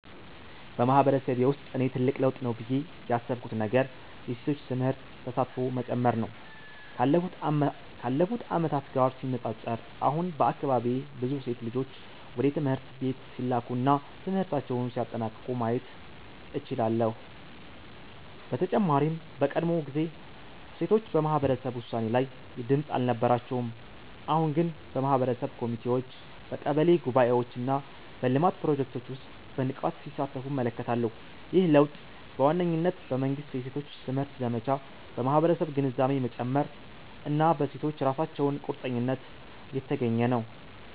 በማህበረሰቤ ውስጥ እኔ ትልቅ ለውጥ ነው ብዬ ያሰብኩት ነገር የሴቶች ትምህርት ተሳትፎ መጨመር ነው። ካለፉት ዓመታት ጋር ሲነጻጸር፣ አሁን በአካባቢዬ ብዙ ሴት ልጆች ወደ ትምህርት ቤት ሲላኩ እና ትምህርታቸውን ሲያጠናቅቁ ማየት እችላለሁ። በተጨማሪም በቀድሞ ጊዜ ሴቶች በማህበረሰብ ውሳኔ ላይ ድምጽ አልነበራቸውም፤ አሁን ግን በማህበረሰብ ኮሚቴዎች፣ በቀበሌ ጉባኤዎች እና በልማት ፕሮጀክቶች ውስጥ በንቃት ሲሳተፉ እመለከታለሁ። ይህ ለውጥ በዋነኝነት በመንግሥት የሴቶች ትምህርት ዘመቻ፣ በማህበረሰብ ግንዛቤ መጨመር እና በሴቶቹ ራሳቸው ቁርጠኝነት የተገኘ ነው።